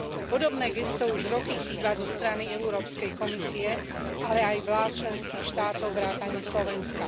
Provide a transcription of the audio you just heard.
Podobné gesto už roky chýba zo strany Európskej komisie, ale aj vlád členských štátov vrátanie Slovenska.